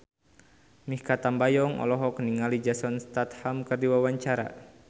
Mikha Tambayong olohok ningali Jason Statham keur diwawancara